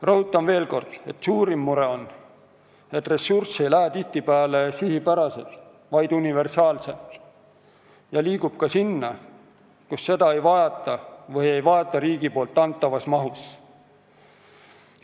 Rõhutan veel kord: suurim mure on, et ressurss ei lähe tihtipeale sihipäraselt, vaid universaalselt ja see liigub ka sinna, kus seda ei vajata või siis ei vajata riigi antavas mahus.